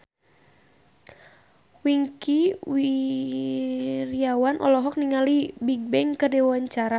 Wingky Wiryawan olohok ningali Bigbang keur diwawancara